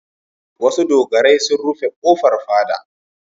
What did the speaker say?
Wasu dogarai sun rufe ƙofar fada.